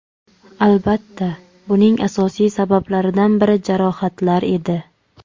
Albatta, buning asosiy sabablaridan biri jarohatlar edi.